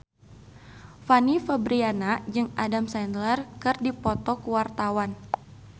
Fanny Fabriana jeung Adam Sandler keur dipoto ku wartawan